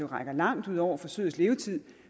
rækker langt ud over forsøgets levetid